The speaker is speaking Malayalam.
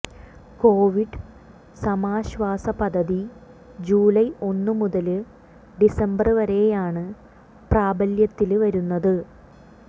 കോവിഡ് സമാശ്വാസ പദ്ധതി ജൂലൈ ഒന്നുമുതല് ഡിസംബര് വരെയാണ് പ്രാബല്യത്തില് വരുന്നത്